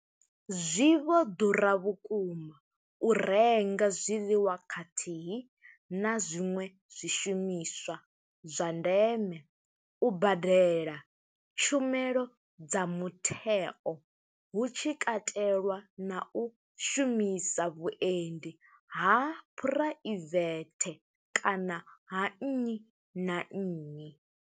Zwi vho ḓura vhukuma u renga zwiḽiwa khathihi na zwiṅwe zwishumiswa zwa ndeme, u badela tshumelo dza mutheo hu tshi katelwa na u shumisa vhuendi ha phuraivethe kana ha nnyi na nnyi.